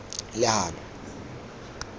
legano